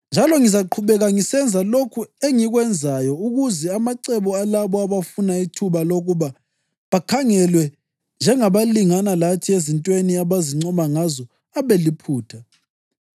Njalo ngizaqhubeka ngisenza lokhu engikwenzayo ukuze amacebo alabo abafuna ithuba lokuba bakhangelwe njengabalingana lathi ezintweni abazincoma ngazo abe liphutha.